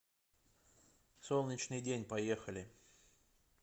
солнечный день поехали